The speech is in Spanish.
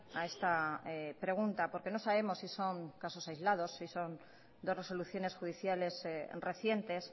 a esta pregunta porque no sabemos si son casos aislados si son dos resoluciones judiciales recientes